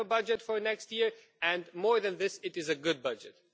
We have a budget for next year and, more than that, it is a good budget.